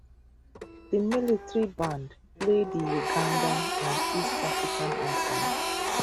di military band play di ugandan and east african anthems